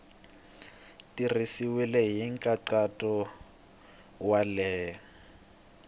tirhisiwile hi nkhaqato wa le